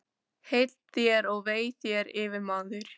Heill þér og vei þér, yfirmaður!